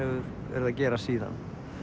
verið að gerast síðan